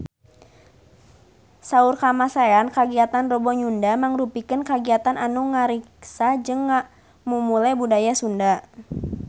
Saur Kamasean kagiatan Rebo Nyunda mangrupikeun kagiatan anu ngariksa jeung ngamumule budaya Sunda